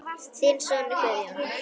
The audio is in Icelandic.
Þinn sonur Guðjón.